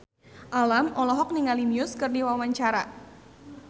Alam olohok ningali Muse keur diwawancara